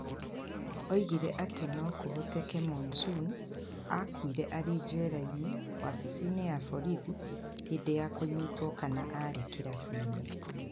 Oigire atĩ no kũhoteke Monson aakuire arĩ njera-inĩ, wabici-inĩ ya borithi, hĩndĩ ya kũnyitwo kana arĩ kĩrabu-inĩ.